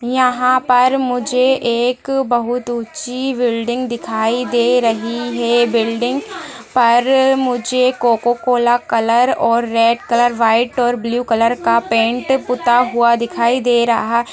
यहाँ पर मुझे एक बहुत ऊँची बिल्डिंग दिखाई दे रही है बिल्डिंग पर मुझे कोकोकोला कलर और रेड कलर व्हाइट और ब्लू कलर का पैंट पुता हुआ दिखाई दे रहा |